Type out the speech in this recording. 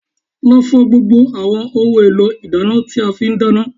Lọ fọ gbogbo àwọn ohun èlò ìdáná tí a fi dáná